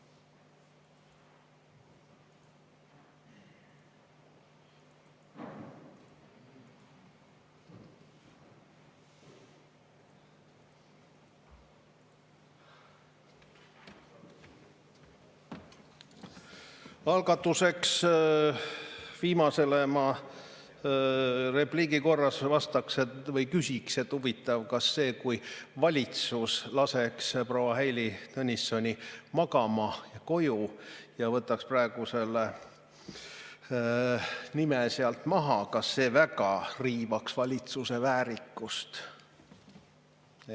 Alustuseks ma repliigina viimase küsimuse peale küsiks, et huvitav, kas see, kui valitsus laseks proua Heili Tõnissoni koju magama ja võtaks praegu selle nime sealt maha, väga riivaks valitsuse väärikust.